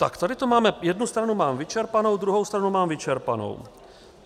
Tak tady to máme, jednu stranu mám vyčerpanou, druhou stranu mám vyčerpanou.